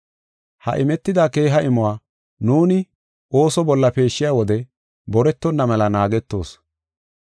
Ha imetida keeha imuwa, nuuni ooso bolla peeshshiya wode boretonna mela naagetoos.